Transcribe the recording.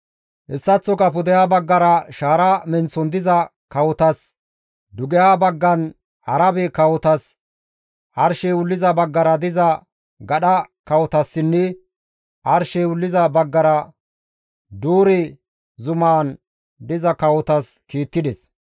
Hessaththoka pudeha baggara shaara menththon diza kawotas, dugeha baggan Arabe kawotas, arshey wulliza baggara diza gadha kawotassinne arshey wulliza baggara Doore zuman diza kawotas kiittides.